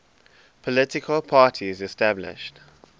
political parties established